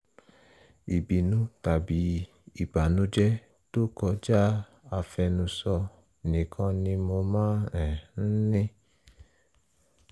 ìbínú tàbí ìbànújẹ́ tó kọjá àfẹnusọ nìkan ni mo máa um ń ní